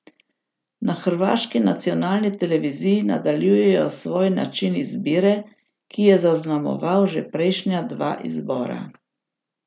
Na hrvaški nacionalni televiziji nadaljujejo svoj način izbire, ki je zaznamoval že prejšnja dva izbora.